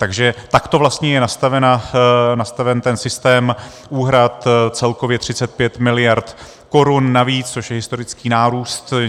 Takže takto vlastně je nastaven ten systém úhrad, celkově 35 miliard korun navíc, což je historický nárůst.